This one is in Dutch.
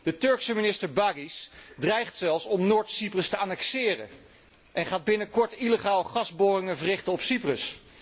De Turkse minister Baris dreigt zelfs om Noord Cyprus te annexeren en gaat binnenkort illegaal gasboringen verrichten op Cyprus.